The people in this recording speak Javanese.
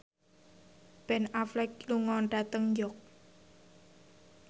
Ben Affleck lunga dhateng York